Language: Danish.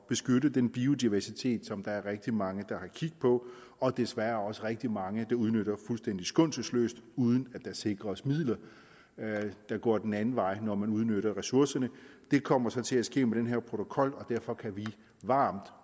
beskytte den biodiversitet som der er rigtig mange der har kig på og desværre også rigtig mange der udnytter fuldstændig skånselsløst uden at der sikres midler der går den anden vej når man udnytter ressourcerne det kommer så til at ske med den her protokol og derfor kan vi varmt